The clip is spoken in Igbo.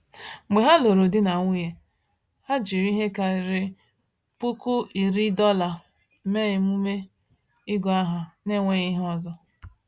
Mgbe ha lụrụ di na nwunye, ha jiri ihe karịrị $10,000 mee emume ịgụ aha n’enweghị ihe ọzọ.